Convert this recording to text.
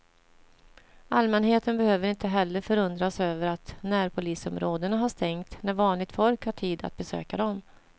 Allmänheten behöver inte heller förundras över att närpolisområdena har stängt när vanligt folk har tid att besöka dem.